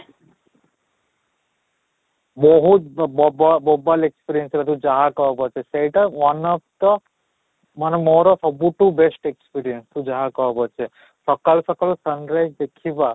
ବହୁତ ବୋବା ବୋବାଲ experience ରେ ତୁ ଯାହା କହ ପଛେ ସେଇଟା one of the ମାନେ ମୋର ସବୁଠୁ best experience ତୁ ଯାହା କହ ପଛେ, ସକାଳୁ ସକାଳୁ sunrise ଦେଖିବା